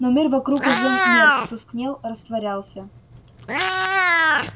но мир вокруг уже мерк тускнел растворялся